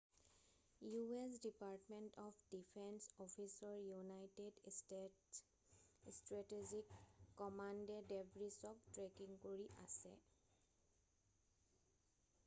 u.s. Department of defence অফিচৰ United States strategic কমাণ্ডে ডেবৰিছক ট্ৰেকিং কৰি আছে৷